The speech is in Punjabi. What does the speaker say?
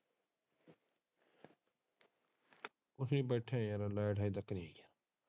ਅਸੀਂ ਬੈਠੇ ਹਾਂ ਯਾਰ ਲਾਈਟ ਹਜੇ ਤੱਕ ਨਹੀਂ ਆਈ। ਲਾਈਟ ਗਈ ਹੋਇ ਹੈ ਬਸ ਨਾਨਕੇ ਬੈਠੇ ਨਾਨਕੇ ਵਾਗੇ।